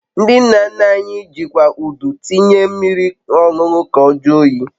Ndị nna nna anyị jikwa Udu tinye mmiri ọñụnụ ka odi oyi